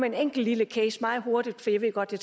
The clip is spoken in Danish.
en enkelt lille case og meget hurtigt for jeg ved godt at